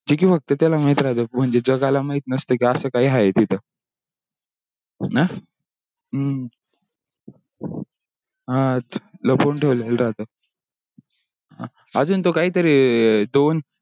ची की ते फक्त त्याला माहीत राहतो म्हणजे जंगल काही माहीत नसतो की असा काही आहे तिथ. हम्म हा लपून ठेवलेला राहतो अजून तो काही तरी दोन